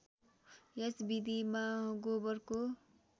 यस विधिमा गोबरको